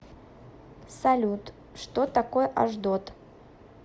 салют что такое ашдод